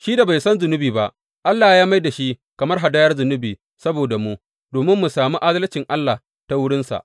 Shi da bai san zunubi ba, Allah ya mai da shi kamar hadayar zunubi saboda mu, domin mu sami adalcin Allah ta wurinsa.